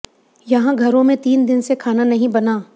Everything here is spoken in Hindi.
यहाँ घरों में तीन दिन से खाना नहीं बना